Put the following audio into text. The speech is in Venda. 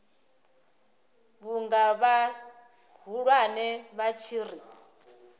vhunga vhahulwane vha tshi ri